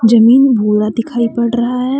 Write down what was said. जमीन भूरा दिखाई पड़ रहा है।